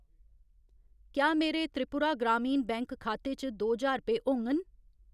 क्या मेरे त्रिपुरा ग्रामीण बैंक खाते च दो ज्हार रपेऽ होङन ?